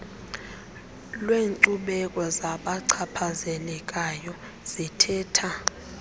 lwenkcubeko zabachaphazelekayo zithetha